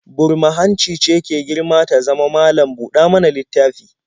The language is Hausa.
Burma-hanci ce ke girma ta zama malam-buɗa-mana-littafi